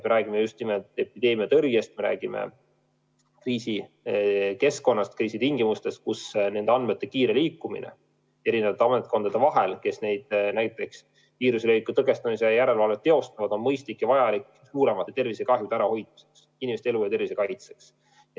Me räägime just nimelt epideemiatõrjest, räägime kriisikeskkonnast, kus nende andmete kiire liikumine eri ametkondade vahel näiteks selleks, et viiruse leviku tõkestamise järelevalvet teostada, on mõistlik ja vajalik suuremate tervisekahjude ärahoidmiseks, inimeste elu ja tervise kaitseks.